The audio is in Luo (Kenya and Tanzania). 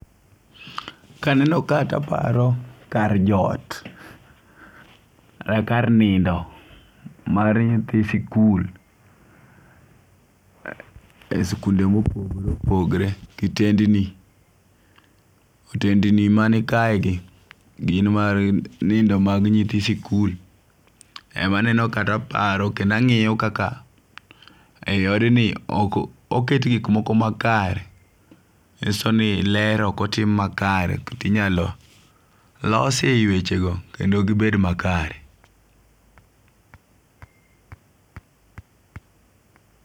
Kaneno ka to aparo kar jot. Kar nindo mar nyithi sikul. E sikunde mopogore opogore. Kitendni otendni mani kae gi gin mar nindo mag nyithi sikul. Emaneno ka to aparo kendo ang'iyo kaka e odni ok oket gik moko makare. Nyiso ni ler ok otim makare. Kendo ninyalo losie wecho go kendo gibed makare.